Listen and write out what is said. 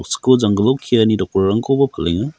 skoo janggilo keani dokrarangkoba palenga.